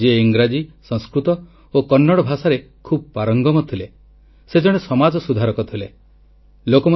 ଭଗବାନ ବାସବେଶ୍ୱର ଆମକୁ ଶିଖାଇଛନ୍ତି କାୟକୱେ କୈଲାସ୍ ଅର୍ଥାତ୍ କଠିନ ପରିଶ୍ରମ ସହ ନିଜର ଦାୟିତ୍ୱ ନିର୍ବାହ କରି ଚାଲିବା ଭଗବାନ ଶିବଙ୍କ ନିବାସ ସ୍ଥାନ କୈଳାସ ଧାମରେ ରହିବା ସହ ସମାନ